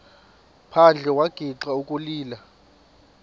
phandle wagixa ukulila